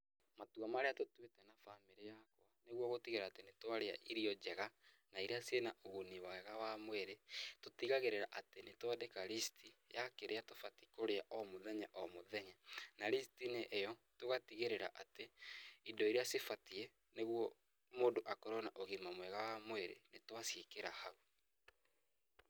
Matua marĩa tũtuĩte na bamĩrĩ yakwa, nĩguo gũtigĩrĩra atĩ nĩ twarĩa irio njega na iria ciĩna ũguni mwega wa mwĩrĩ, tũtigagĩrĩra atĩ nĩ twandĩka list ya kĩrĩa tũbatiĩ kũrĩa o mũthenya o mũthenya, na list -inĩ ĩyo, tũgatigĩrĩra atĩ, indo iria cibatiĩ nĩguo mũndũ akorũo na ũgima mwega wa mwĩrĩ, nĩ twa ciĩkĩra hau.